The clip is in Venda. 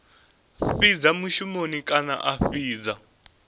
fhidza mushumoni kana a fhidza